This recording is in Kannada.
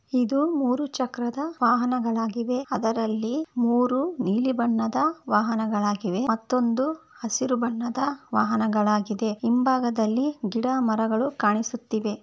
ಇದು ಮೂರು ಚಕ್ರದ ವಾಹನಗಳಾಗಿವೆ ಅದರಲ್ಲಿ ಮೂರು ನೀಲಿ ಬಣ್ಣದ ವಾಹನಗಳಾಗಿವೆ ಮತ್ತೊಂದು ಹಸಿರು ಬಣ್ಣದ ವಾಹನವಾಗಿದೆ ಹಿಂಭಾಗದಲ್ಲಿ ಗಿಡ ಮರಗಳು ಕಾಣಿಸುತ್ತಿವೆ